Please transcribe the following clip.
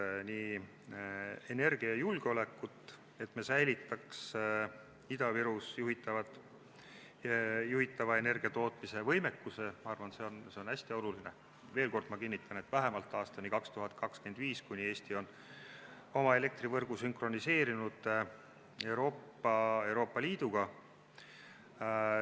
Pean oluliseks energiajulgeolekut, et me säilitaks Ida-Virumaal juhitava energiatootmisvõimekuse, ma arvan, et see on hästi oluline, veel kord kinnitan, vähemalt aastani 2025, kuni Eesti on oma elektrivõrgu sünkroniseerinud Euroopa Liiduga.